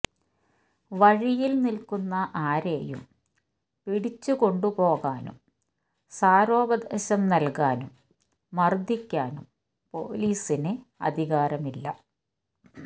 വഴിയിൽ നിൽക്കുന്ന ആരേയും പിടിച്ചുകൊണ്ടുപോകാനും സാരോപദേശം നൽകാനും മർദിക്കാനും പോലീസിന് അധികാരമില്ല